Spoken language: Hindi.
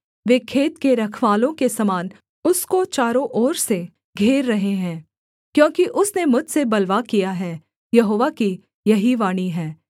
वे खेत के रखवालों के समान उसको चारों ओर से घेर रहे हैं क्योंकि उसने मुझसे बलवा किया है यहोवा की यही वाणी है